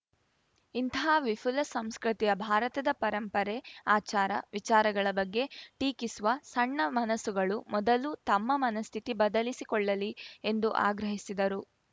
ಇಂತಹ ವಿಫುಲ ಸಂಸ್ಕೃತಿಯ ಭಾರತದ ಪರಂಪರೆ ಆಚಾರ ವಿಚಾರಗಳ ಬಗ್ಗೆ ಟೀಕಿಸುವ ಸಣ್ಣ ಮನಸ್ಸುಗಳು ಮೊದಲು ತಮ್ಮ ಮನಸ್ಥಿತಿ ಬದಲಿಸಿಕೊಳ್ಳಲಿ ಎಂದು ಆಗ್ರಹಿಸಿದರು